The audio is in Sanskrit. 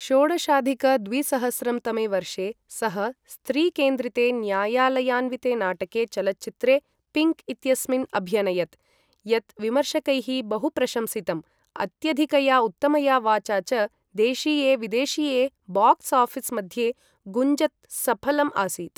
षोडशाधिक द्विसहस्रं तमे वर्षे, सः स्त्री केन्द्रिते न्यायालयान्विते नाटके चलच्चित्रे पिङ्क् इत्यस्मिन् अभ्यनयत्, यत् विमर्शकैः बहु प्रशंसितम्, अत्यधिकया उत्तमया वाचा च देशीये विदेशीये बाक्स् आफिस् मध्ये गुञ्जत् सफलम् आसीत्।